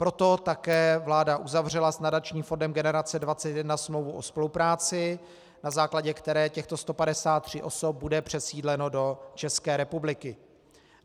Proto také vláda uzavřela s nadačním fondem Generace 21 smlouvu o spolupráci, na základě které těchto 153 osob bude přesídleno do České republiky.